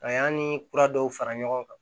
A y'an ni kura dɔw fara ɲɔgɔn kan